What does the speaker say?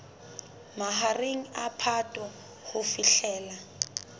mahareng a phato ho fihlela